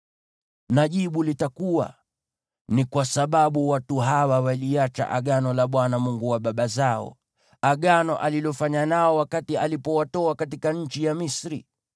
Na jibu litakuwa: “Ni kwa sababu watu hawa waliacha Agano la Bwana , Mungu wa baba zao, Agano alilofanya nao wakati alipowatoa katika nchi ya Misri.